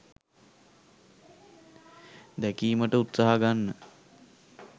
දැකීමට උත්සාහ ගන්න.